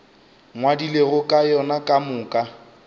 ngwadilego ka yona ka moka